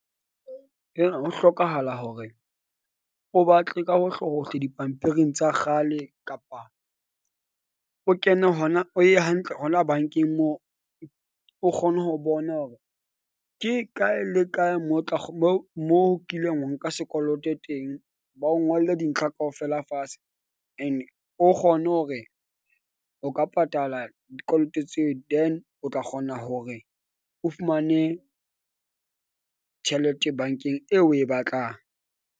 Ho hlokahala hore o batle ka hohlehohle dipampiring tsa kgale kapa o kene hona, o ye hantle hona bank-eng moo. O kgone ho bona hore ke kae le kae mo tla mo mo kileng wa nka sekoloto teng. Ba o ngolle dintlha kaofela fatshe and o kgone hore o ka patala dikoloto tseo. Then o tla kgona hore o fumane tjhelete bank-eng eo o e batlang.